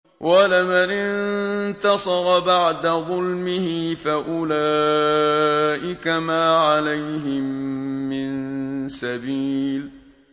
وَلَمَنِ انتَصَرَ بَعْدَ ظُلْمِهِ فَأُولَٰئِكَ مَا عَلَيْهِم مِّن سَبِيلٍ